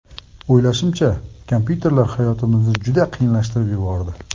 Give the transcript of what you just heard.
O‘ylashimcha, kompyuterlar hayotimizni juda qiyinlashtirib yubordi.